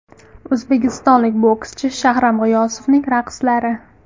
O‘zbekistonlik bokschi Shahram G‘iyosovning raqslari.